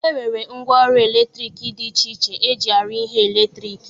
E nwere ngwaọrụ eletriki dị iche iche e ji arụ ihe eletriki